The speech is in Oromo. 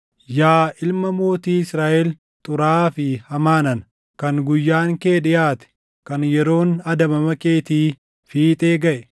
“ ‘Yaa ilma mootii Israaʼel xuraaʼaa fi hamaa nana, kan guyyaan kee dhiʼaate, kan yeroon adabama keetii fiixee gaʼe,